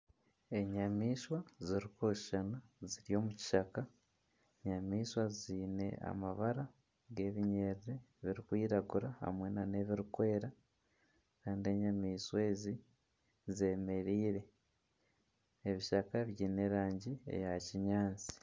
Enyamaishwa ziri kushushana ziri omu kishaka. Enyamaishwa ziine amabara g'ebinyarara biri kwiragura hamwe n'ebiri kweera Kandi enyamaishwa ezi zemereire. Ebishaka biine erangi eya kinyaatsi.